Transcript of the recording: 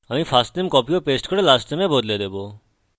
আমি firstname copy ও paste করে lastname এ বদলে দেবো